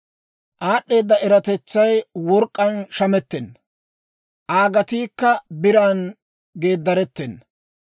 «Aad'd'eeda eratetsay work'k'aan shamettenna; Aa gatiikka biran geedaretena.